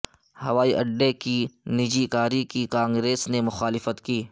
ہوائی اڈے کی نج کاری کی کانگریس نےمخالفت کی